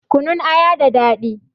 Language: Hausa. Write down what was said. Kunun aya da daɗi